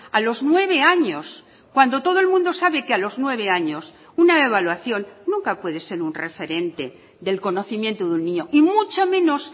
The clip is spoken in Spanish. a los nueve años cuando todo el mundo sabe que a los nueve años una evaluación nunca puede ser un referente del conocimiento de un niño y mucho menos